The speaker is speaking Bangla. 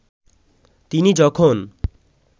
তিনি যখন